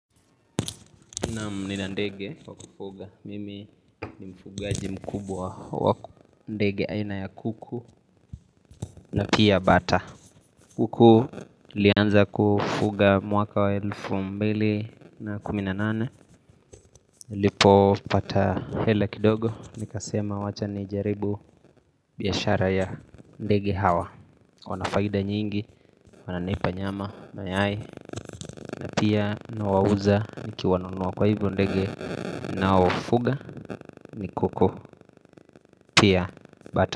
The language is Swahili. Naam ninandege wa kufuga, mimi ni mfugaji mkubwa wa ndege aina ya kuku na pia bata kuku nilianza kufuga mwaka wa elfu mbili na kuminanane niLipo pata hela kidogo, nikasema wacha ni jaribu biashara ya ndege hawa Wanafaida nyingi, wananipa nyama mayai napia na wauza niki wanunuwa kwa hivyo ndege ninaowafuga ni kuku pia bata.